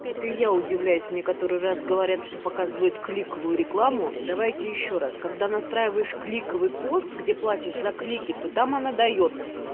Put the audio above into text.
вот и я удивляюсь мне который раз говорят что показывают кликовую рекламу давайте ещё раз когда настраиваешь кликовый пост где платишь за клики то там она даёт